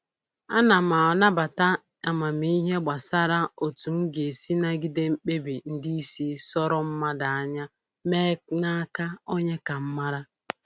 Ana m anabata amamihe gbasara otu m ga-esi nagide mkpebi ndị isi sọrọ mmadụ anya mee n'aka onye ka m mara